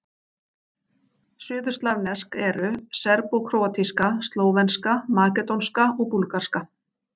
Suðurslavnesk eru: serbókróatíska, slóvenska, makedónska og búlgarska.